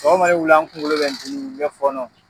Sɔgɔman ne wulila n kunkolo bɛ dimi, bɛ fɔɔnɔ.